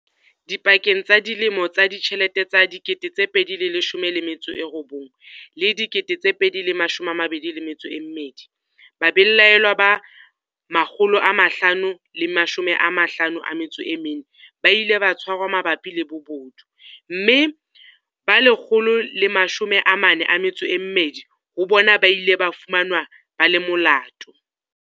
Dipakeng tsa dilemo tsa ditjhelete tsa 2019 le 2022, babelaellwa ba 554 ba ile ba tshwarwa mabapi le bobodu, mme ba 142 ho bona ba ile ba fumanwa ba le molato.